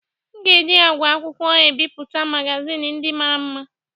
M ga-eji àgwà akwụkwọ ebipụta magazin ndị mara mma